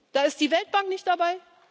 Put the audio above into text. dabei. Da ist die Weltbank nicht